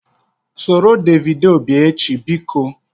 Soro Davido bịa echi! Biko